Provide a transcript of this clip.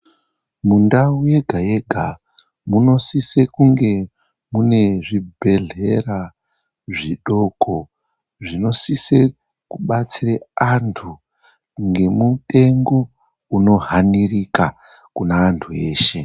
Mundau yega yega munosise kunge mune zvibhedhlera zvidoko, zvinosise kubatsire anthu ngemutengo unohanirika kune anthu eshe.